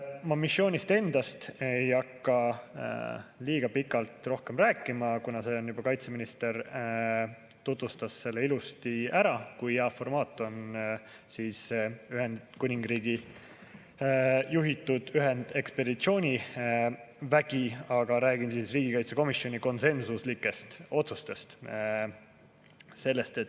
Ma missioonist endast ei hakka rohkem rääkima, kuna kaitseminister juba tutvustas ilusti ära, kui hea formaat on Ühendkuningriigi juhitud ühendekspeditsioonivägi, aga räägin riigikaitsekomisjoni konsensuslikest otsustest.